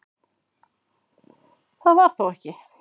Það var þó ekki